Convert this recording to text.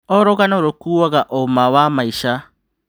O rũgano rũkuaga ũma wa maica.